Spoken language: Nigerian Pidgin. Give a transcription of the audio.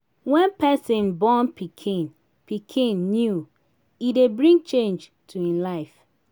when person born pikin pikin new e dey bring change to im life